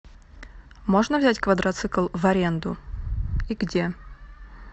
можно взять квадроцикл в аренду и где